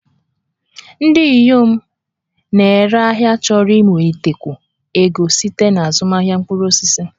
Ndị inyom na-ere ahịa chọrọ inwetakwu ego site na azụmahịa mkpụrụ osisi